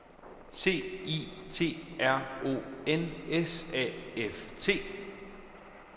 C I T R O N S A F T